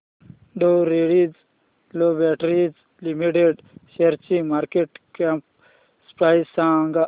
डॉ Reddy's laboratories limited शेअरची market cap price सांगा